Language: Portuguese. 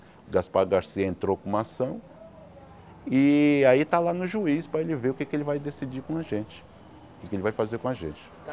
O Gaspar Garcia entrou com uma ação e aí está lá no juiz para ele ver o que é que ele vai decidir com a gente, o que ele vai fazer com a gente.